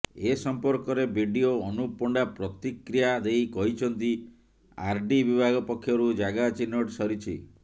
ଏ ସମ୍ପର୍କରେ ବିଡିଓ ଅନୁପ ପଣ୍ଡା ପ୍ରତିକ୍ରିୟା ଦେଇ କହିଛନ୍ତି ଆରଡି ବିଭାଗ ପକ୍ଷରୁ ଜାଗା ଚିହ୍ନଟ ସରିଛି